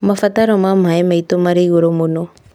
mabataro ma maĩ maitũ marĩ igũrũ mũno